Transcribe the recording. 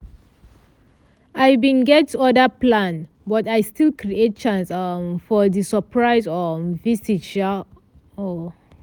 i bin get other plan but i still create chance um for di surprise um visit sha. um